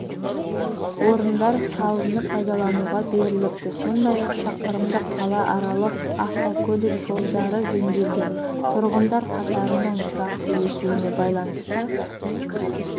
орындары салынып пайдалануға беріліпті сондай-ақ шақырымдық қалааралық автокөлік жолдары жөнделген тұрғындар қатарының тұрақты өсуіне байланысты